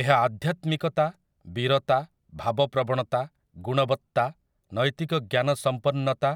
ଏହା ଆଧ୍ୟାତ୍ମିକତା, ବୀରତା, ଭାବପ୍ରବଣତା, ଗୁଣବତ୍ତା, ନୈତିକ ଜ୍ଞାନ ସମ୍ପନ୍ନତା